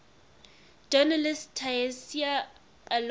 journalist tayseer allouni